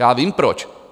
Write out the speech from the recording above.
Já vím proč.